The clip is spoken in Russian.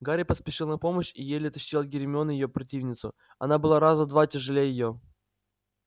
гарри поспешил на помощь и еле оттащил от гермионы её противницу она была раза в два тяжелее её